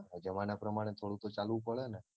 જમાના પ્રમાણે થોડું ક તો ચાલવું પડેને